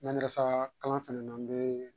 Mandarasa kalan fanana n be